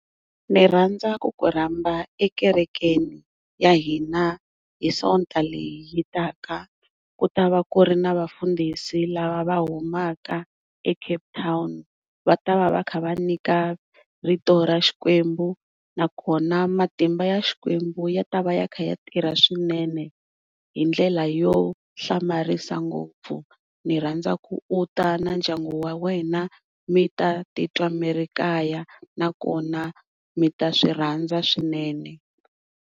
Ni rhandza ku ku rhamba ekerekeni ya hina hi sonta leyi taka kutavaa ku ri na vafundhisi lava va humaka eCape Town va ta va va kha va nyika rito ra xikwembu navkona matimba ya xikwembu ya ta va ya kha a tirha swinene hi ndlela yo hlamarisa ngopfu ni rhandza ku u ta na ndyangu wa wena mita titwa mi ri kaya na kona mivta swi rhandza swinene.